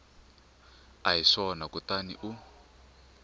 a hi swona kutani u